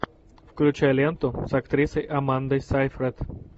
включай ленту с актрисой амандой сайфрид